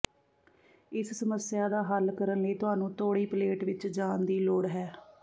ਇਸ ਸਮੱਸਿਆ ਦਾ ਹੱਲ ਕਰਨ ਲਈ ਤੁਹਾਨੂੰ ਤੋੜੀ ਪਲੇਟ ਵਿੱਚ ਜਾਣ ਦੀ ਲੋੜ ਹੈ